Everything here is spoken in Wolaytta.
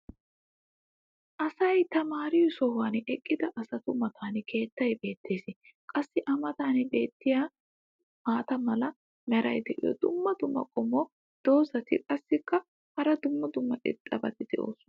asay tamaariyo sohuwan eqqida asatu matan keettay beetees. qassi a matan beetiya maata mala meray diyo dumma dumma qommo dozzati qassikka hara dumma dumma irxxabati doosona.